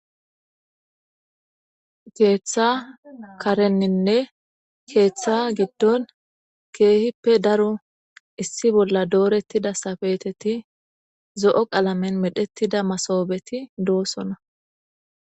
Keeththa karenninne keeththa giddon keehippe daro issi bolla doorettida safeeteti zo'o qalamen medhettida masoobeti doosona.